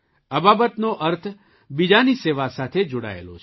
અબાબતનો અર્થ બીજાની સેવા સાથે જોડાયેલો છે